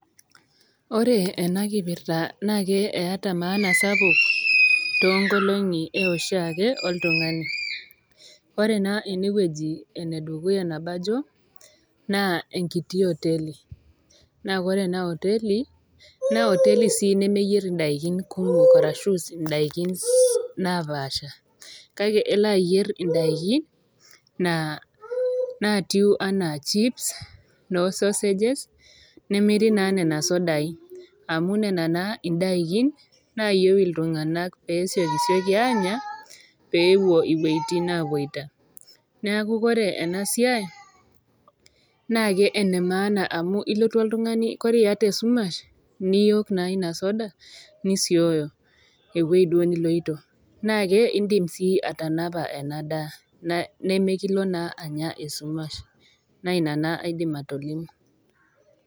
Ore ena kipirta naake eata maana sapuk toonkolongi e oshiake oltung'ani. Ore naa ena wueji tenaaji naa enkiti oteli, naa ore ena oteli naa oteli sii neyir indaikin kumok ashu indaiki napaasha, kake elo ayier indaiki naa natii anaa chips, noo sausage nemiri naa nena sidai, amu nena naa indaiki naayiou iltung'ana pee esiokisioki aanya, peewuo inwuetin napuoita. Neaku ore ena siai naake ene maana enkarake ilotu oltung'ani ore iata esumash niook naa ina soda nosioyo ewueji duo niloito. Naake indim sii atanapa ena daa nekilo naa Anya esumash, naa ina naa aidim atolimu.